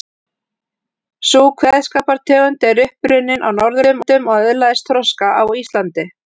Sú kveðskapartegund er upp runnin á Norðurlöndum og öðlaðist þroska á Íslandi.